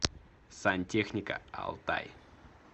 сантехника алтай